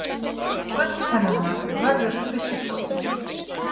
Gulltennurnar vörðust byssuskoti